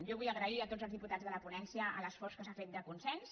jo vull agrair a tots els diputats de la ponència l’esforç que s’ha fet de consens